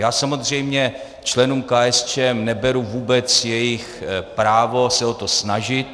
Já samozřejmě členům KSČM neberu vůbec jejich právo se o to snažit.